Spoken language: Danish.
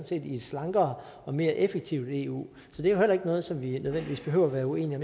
set i et slankere og mere effektivt eu så det er heller ikke noget som vi nødvendigvis behøver at være uenige